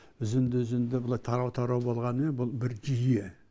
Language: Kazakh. үзінді үзінді былай тарау тарау болғанымен бұл бір жүйе